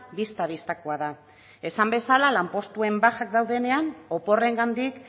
bista bistakoa da esan bezala lanpostuen bajak daudenean oporrengandik